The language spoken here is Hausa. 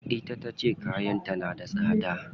Ita tace kayan ta da tsada.